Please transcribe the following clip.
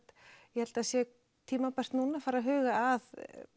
ég held það sé tímabært núna að fara að huga að